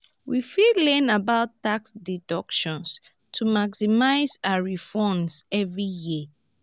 we fit learn about tax deductions to maximize our refunds every year.